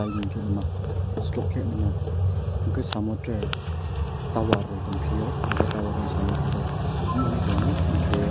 gimkelima slokelima hingke samo tere tower rok tongpio o tower ni samo kebo nogo tongo hingke.